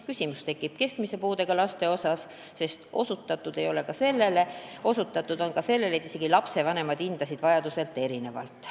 Küsimus tekib keskmise puudega lastega, sest osutatud on ka sellele, et isegi lapsevanemad hindasid vajadusi erinevalt.